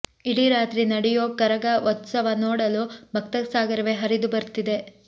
ಇಡೀ ರಾತ್ರಿ ನಡೆಯೋ ಕರಗ ಉತ್ಸವ ನೋಡಲು ಭಕ್ತಸಾಗರವೇ ಹರಿದು ಬರ್ತಿದೆ